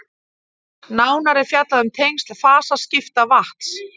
nánar er fjallað um tengsl fasaskipta vatns